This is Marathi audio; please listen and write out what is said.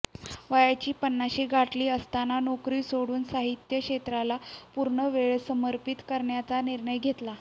वयाची पन्नाशी गाठली असताना नोकरी सोडून साहित्य क्षेत्राला पूर्णवेळ समर्पित करण्याचा निर्णय घेतला